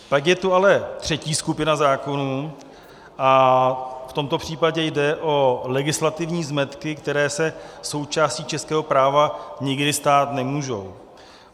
Pak je tu ale třetí skupina zákonů - a v tomto případě jde o legislativní zmetky, které se součástí českého práva nikdy stát nemůžou.